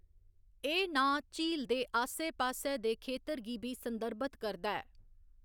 एह्‌‌ नांऽ झील दे आस्सै पास्सै दे खेतर गी बी संदर्भित करदा ऐ।